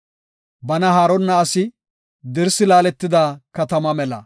Bana haaronna asi dirsi laaletida katama mela.